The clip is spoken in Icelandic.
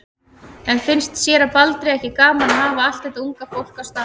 En finnst séra Baldri ekki gaman að hafa allt þetta unga fólk á staðnum?